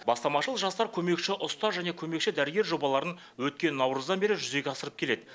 бастамашыл жастар көмекші ұстаз және көмекші дәрігер жобаларын өткен наурыздан бері жүзеге асырып келеді